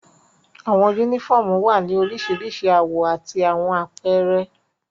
Awọn unifọmú wa ni oriṣiriṣi awọ ati awọn apẹrẹ